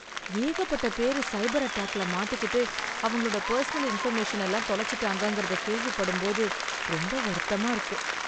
ஏகப்பட்ட பேரு சைபர் அட்டாக்ல மாட்டிக்கிட்டு அவங்களோட பர்சனல் இன்ஃபர்மேஷன் எல்லாம் தொலைச்சுட்டாங்கங்கறத கேள்விப்படும் போது ரொம்ப வருத்தமா இருக்கு.